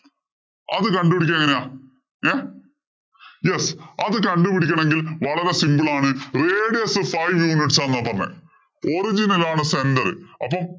അത് കണ്ടുപിടിക്കാ എങ്ങനെയാ ഏർ yes അത് കണ്ടുപിടിക്കണെങ്കില്‍ വളരെ simple ആണ് radius five units ആ നോക്കൂന്നെ.